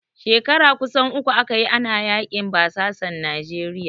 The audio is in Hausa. Shekara kusan uku aka yi, ana yaƙin basasan Nijeriya.